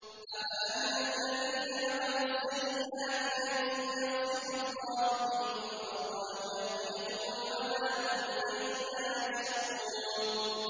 أَفَأَمِنَ الَّذِينَ مَكَرُوا السَّيِّئَاتِ أَن يَخْسِفَ اللَّهُ بِهِمُ الْأَرْضَ أَوْ يَأْتِيَهُمُ الْعَذَابُ مِنْ حَيْثُ لَا يَشْعُرُونَ